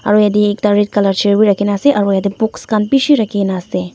aru yate ekta red chair b rakhi na ase aru yate books khan bishi rakhi na ase.